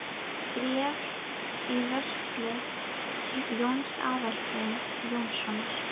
Bréf í vörslu Jóns Aðalsteins Jónssonar.